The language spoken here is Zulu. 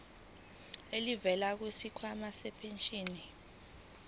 elivela kwisikhwama sempesheni